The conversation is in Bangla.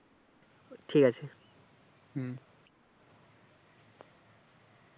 ঠিক আছে